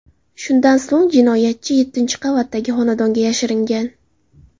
Shundan so‘ng jinoyatchi yettinchi qavatdagi xonadonga yashiringan.